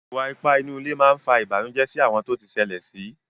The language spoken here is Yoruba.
Ìwà ipá nínú ilé má fa Ìbànùjẹ́ sí àwọn tó ti ṣẹlẹ̀ sí